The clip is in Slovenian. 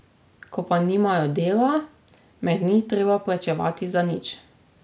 Ko pa nimajo dela, me ni treba plačevati za nič.